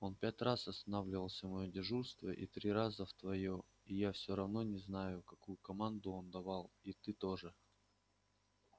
он пять раз останавливался в моё дежурство и три раза в твоё и я все равно не знаю какую команду он давал и ты тоже